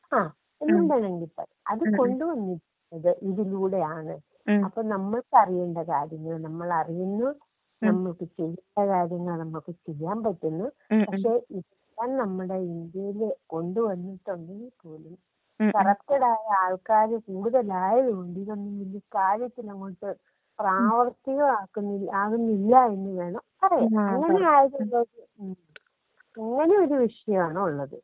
ആ എന്നും വെണമെങ്കിൽ പറയാം അത് കൊണ്ട്വന്നിരിക്കുന്നത് ഇതിലൂടെയാണ് അപ്പൊ നമ്മളറിയേണ്ട കാര്യങ്ങൾ നമ്മളറിയുന്ന നമ്മൾ ചെയ്യേണ്ട കാര്യങ്ങൾ നമ്മൾക്ക് ചെയ്യാൻ പറ്റുന്നുപക്ഷെ ഇത് നമ്മുടെ ഇന്ത്യയിൽ കൊണ്ട് വന്നിട്ടുണ്ടെങ്കിൽ കൂടി കറപ്റ്റട് ആയിട്ടുള്ള ആള് ക്കാര് കൂടുതലായത് കൊണ്ട് ഇതെന്നും കാര്യത്തിലങ്ങോട്ട് പ്രാവർത്തികം ആക്കുന്നില്ല ആവുന്നില്ലഎന്ന് വേണം പറയാൻ അങ്ങനെയൊരു വിഷയമാണ് ഉള്ളത്.